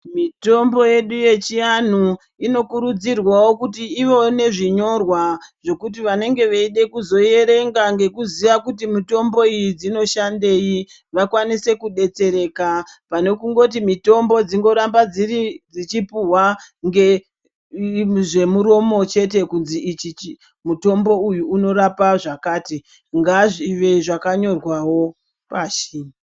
Mitombo yedu yechianhu inokurudzirwawp kuti ivewo nezvinyorwa zvokuti vanenge veida kuzoierenga ngekuziya kuti mitombo iyi dzinoshandei vakwanise kudetsereka. Pane kungoti mitombo dzingoramba dzichipuhwa zvemuromo chete kunzi ichichi mutombo uyu unorapa zvakati. Ngazvive zvakanyorwawo pashi.